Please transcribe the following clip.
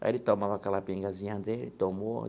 Aí ele tomava aquela pingazinha dele e tomou.